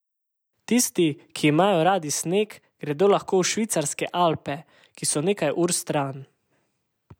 Tisti, ki imajo radi sneg, gredo lahko v švicarske Alpe, ki so nekaj ur stran.